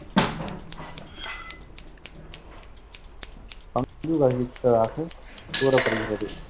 பங்கு வகிப்பதாக கூறப்படுகிறது.